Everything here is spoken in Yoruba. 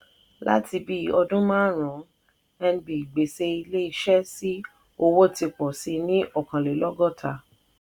láti bí ọdún márùn-ún nb gbèsè ilé iṣẹ́ sí owó ti pọ̀si ní ọkànlélọ́gọ́ta.